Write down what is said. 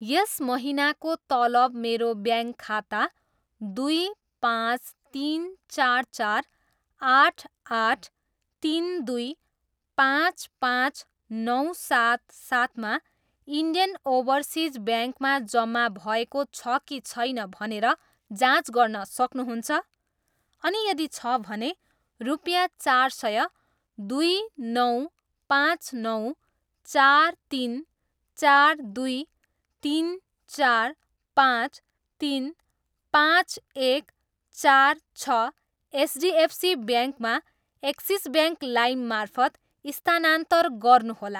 यस महिनाको तलब मेरो ब्याङ्क खाता दुई, पाँच, तिन, चार, चार, आठ, आठ, तिन, दुई, पाँच, पाँच, नौ, सात, सातमा इन्डियन ओभरसिज ब्याङ्कमा जम्मा भएको छ कि छैन भनेर जाँच गर्न सक्नुहुन्छ? अनि यदि छ भने, रुपियाँ चार सय, दुई, नौ, पाँच, नौ, चार, तिन, चार, दुई, तिन, चार, पाँच, तिन, पाँच, एक, चार, छ, एचडिएफसी ब्याङ्कमा एक्सिस ब्याङ्क लाइम मार्फत स्थानान्तर गर्नुहोला।